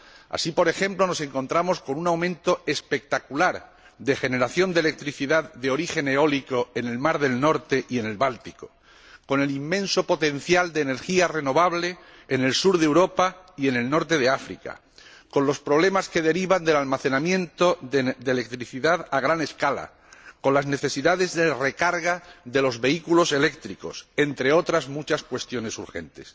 Así, por ejemplo, nos encontramos con un aumento espectacular de generación de electricidad de origen eólico en el mar del Norte y en el Báltico, con el inmenso potencial de energía renovable en el sur de Europa y en el norte de África, con los problemas que se derivan del almacenamiento de electricidad a gran escala y con las necesidades de recarga de los vehículos eléctricos, entre otras muchas cuestiones urgentes.